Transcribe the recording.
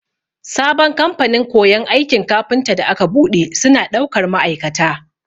Sabon kamfanin koyon aikin kafinta da aka buɗe, suna ɗaukar ma'aikata.